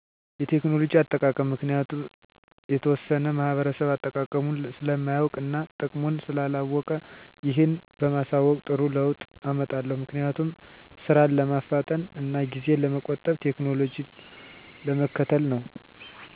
የቴክኖሎጂ አጠቃቀም ምክንያቱም የተወሠነ ማህበረሰብ አጠቃቀሙን ስለማያውቅ እና ጥቅሙን ስላላወቀ ይህን በማሣወቅ ጥሩ ለውጥ አመጣለሁ። ምክንያቱም፦ ስራን ለማፍጠን እና ጊዜን ለመቆጠብ ቴክኖሎጂን ለመከተል ነው።